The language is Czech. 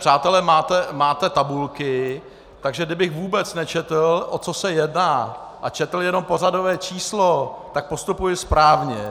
Přátelé, máte tabulky, takže kdybych vůbec nečetl, o co se jedná, a četl jenom pořadové číslo, tak postupuji správně.